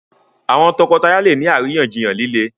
àwọn toko-taya lẹ ní àríyànjiyàn lile.